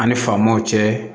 An' ni faamaw cɛ